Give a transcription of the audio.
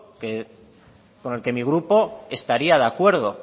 con el que mi grupo estaría de acuerdo